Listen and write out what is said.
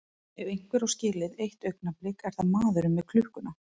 Ef einhver á skilið eitt augnablik er það maðurinn með klukkuna.